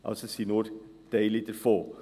Es sind also nur Teile davon.